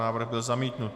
Návrh byl zamítnut.